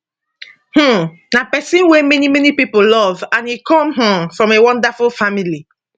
um na pesin wey many many pipo love and e come um from a wonderful family